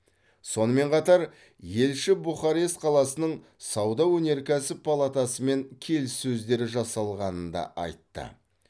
сонымен қатар елші бухарест қаласының сауда өнеркәсіп палатасымен келіссөздер жасалғанын да айтты